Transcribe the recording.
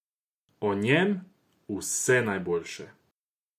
O njem vse najboljše!